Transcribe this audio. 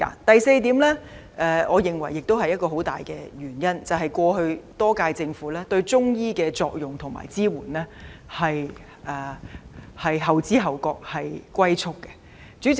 第四，也是我認為很重要的一個原因，是過去多屆政府對中醫的作用和支援後知後覺，以"龜速"發展。